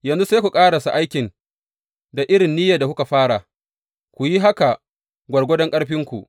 Yanzu sai ku ƙarasa aikin da irin niyyar da kuka fara, ku yi haka gwargwadon ƙarfinku.